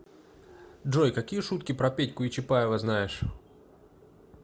джой какие шутки про петьку и чапаева знаешь